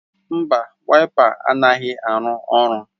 Mba, Waịpa anaghị arụ ọrụ